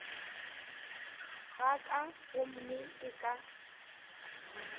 ga ka gomme ke tla